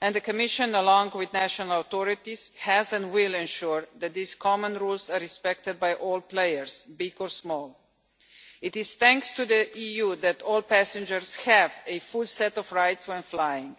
and the Commission along with national authorities has ensured and will ensure that these common rules are respected by all players, big or small. It is thanks to the EU that all passengers have a full set of rights when flying.